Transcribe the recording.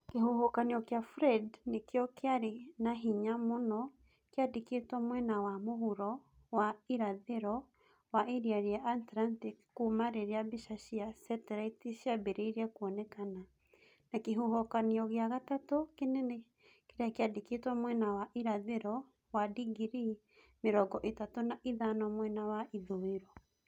Kĩhuhũkanio kĩa Fred nĩkĩo kĩarĩ na hinya mũno kĩandĩkĩtwo mwena wa mũhuro na wa irathĩro wa Iria rĩa Atlantic kuuma rĩrĩa mbica cia seteraiti ciambĩrĩirie kuoneka, na kĩhuhũkanio gĩa gatatũ kĩnene kĩrĩa kĩandĩkĩtwo mwena wa irathĩro wa digirii mĩrongo ĩtatũ na ithano mwena wa ithũĩro